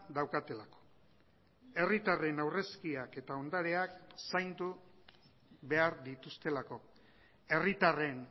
daukatelako herritarren aurrezkiak eta ondareak zaindu behar dituztelako herritarren